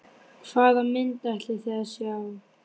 Hvaða mynd ætlið þið að sjá?